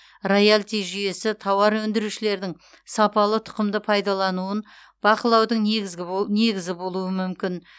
роялти жүйесі тауар өндірушілердің сапалы тұқымды пайдалануын бақылаудың негізгі негізі болуы мүмкін